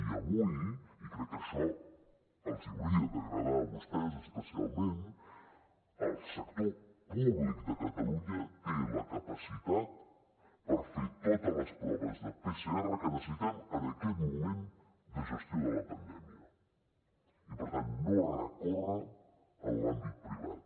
i avui i crec que això els hauria d’agradar a vostès especialment el sector públic de catalunya té la capacitat per fer totes les proves de pcr que necessitem en aquest moment de gestió de la pandèmia i per tant no recórrer a l’àmbit privat